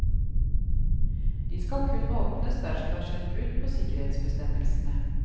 De skal kun åpnes dersom det har skjedd brudd på sikkerhetsbestemmelsene.